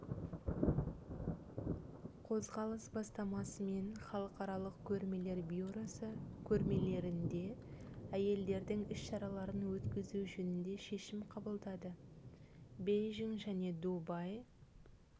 қозғалыс бастамасымен халықаралық көрмелер бюросы көрмелерінде әйелдердің іс-шараларын өткізу жөнінде шешім қабылдады бейжің және дубай